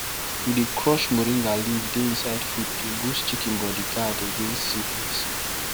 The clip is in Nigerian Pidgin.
we dy crush moringa leaf dey inside feed to boost chicken body guard against sickness